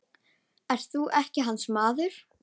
Ert þú ekki hans maður?